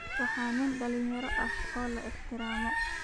Waa nin dhalinyaro ah oo la ixtiraamo